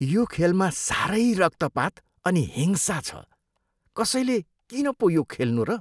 यो खेलमा साह्रै रक्तपात अनि हिंसा छ। कसैले किन पो यो खेल्नु र?